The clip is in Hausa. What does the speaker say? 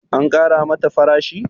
an Kara mata farashi?